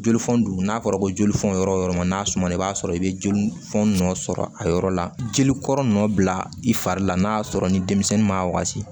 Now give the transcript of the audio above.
Jolifɔn dun n'a fɔra ko jolifɛnw yɔrɔ o yɔrɔ n'a sumana i b'a sɔrɔ i bɛ jolifɔni nɔ sɔrɔ a yɔrɔ la jelikɔrɔ nɔ bila i fari la n'a y'a sɔrɔ ni denmisɛnnin ma wagati